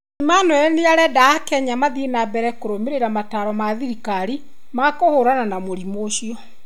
Emmanuel nĩarenda Akenya mathiĩ na mbere kũrũmĩrĩra mataro ma thirikari ma kũhũrana na mũrimũ ũcio